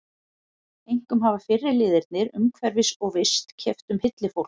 Einkum hafa fyrri liðirnir umhverfis- og vist- keppt um hylli fólks.